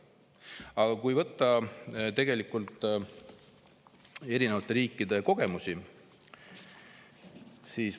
Aga vaatame erinevate riikide kogemusi.